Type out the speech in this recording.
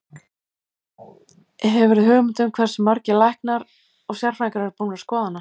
Hefurðu hugmynd um hversu margir læknar og sérfræðingar eru búnir að skoða hana?